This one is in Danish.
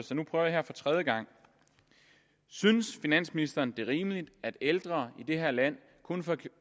så nu prøver jeg for tredje gang synes finansministeren det er rimeligt at de ældre i det her land kun